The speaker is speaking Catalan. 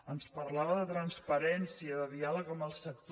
ens parlava de transparència de diàleg amb el sector